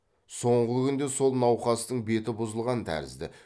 соңғы күнде сол науқастың беті бұзылған тәрізді